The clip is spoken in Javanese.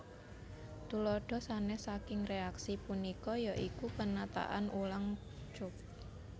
Tuladha sanes saking reaksi punika ya iku penataan ulang cope